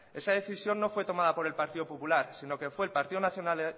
esa decisión no fue tomada por el partido popular sino que fue el partido